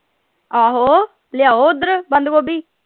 ਲਿਆਓ ਓਧਰ ਬੰਦ ਗੋਭੀ।